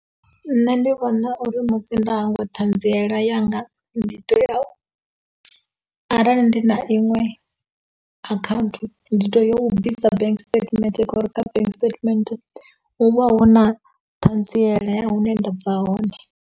Nṋe ndi vhona uri musi nda hangwa ṱhanziela yanga ndi to ya arali ndi na iṅwe akhaunthu ndi to ya u bvisa bank statement ngauri kha bank statement hu vha hu na thanziela ya hune nda bva hone.